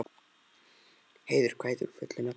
Heiður, hvað heitir þú fullu nafni?